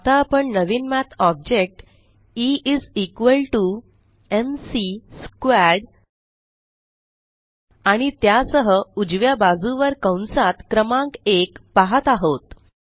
आता आपण नवीन math object E is equal to M C squared eएम2 आणि त्यासह उजव्या बाजुवर कंसात क्रमांक 1पाहत आहोत